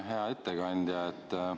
Hea ettekandja!